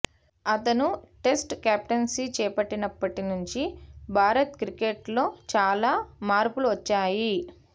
అతను test captaincy చేపట్టినప్పటి నుంచి భారత క్రికెట్లో చాలా మార్పులు వచ్చాయి